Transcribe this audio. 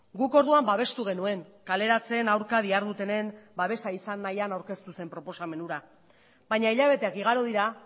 guk orduan babestu genuen kaleratzen aurka dihardutenen babesa izan nahian aurkeztu zen proposamen hura baina hilabeteak igaro dira